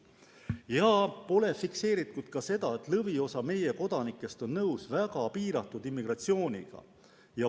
Samuti pole fikseeritud seda, et lõviosa meie kodanikest on nõus väga piiratud immigratsiooniga.